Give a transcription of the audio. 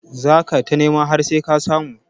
Za ka ta nema har sai ka samu